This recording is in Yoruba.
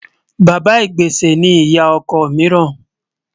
Bàbá ìgbésẹ̀ ni ìyá ọkọ míìràn